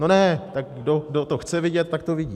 No ne, tak kdo to chce vidět, tak to vidí.